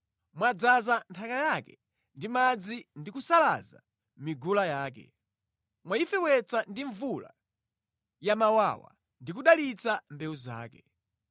Mwadzaza nthaka yake ndi madzi ndi kusalaza migula yake, mwayifewetsa ndi mvula yamawawa ndi kudalitsa mbewu zake.